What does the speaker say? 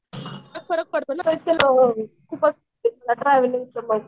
फरक पडतो ना मग ट्रॅव्हलिंगचा मग.